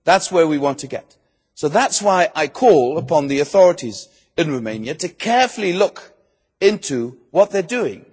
That is where we want to get to. So that is why I call upon the authorities in Romania carefully to look into what they are doing.